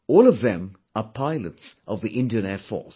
All of them are pilots of the Indian Air Force